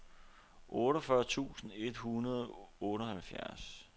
otteogfyrre tusind et hundrede og otteoghalvfjerds